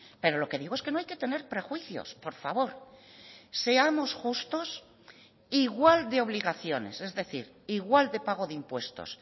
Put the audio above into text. pero lo que digo es que no hay que tener prejuicios por favor seamos justos igual de obligaciones es decir igual de pago de impuestos